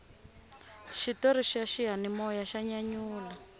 xitori xa xiyanimoya xa nyanyula